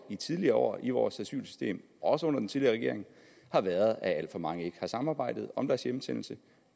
tidligere år i vores asylsystem også under den tidligere regering har været at alt for mange ikke har samarbejdet om deres hjemsendelse